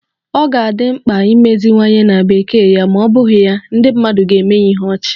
Ọ ga-adị mkpa imeziwanye na Bekee ya ma ọ bụghị ya, ndị mmadụ ga-eme ya ihe ọchị